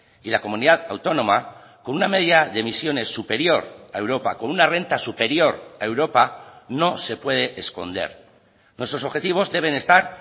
y la comunidad autónoma con una media de emisiones superior a europa con una renta superior a europa no se puede esconder nuestros objetivos deben estar